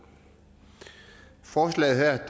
forslaget her